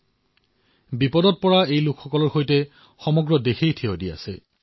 এই দুৰ্যোগৰ সৈতে প্ৰভাৱিত লোকৰ সৈতে সমগ্ৰ দেশবাসী আছে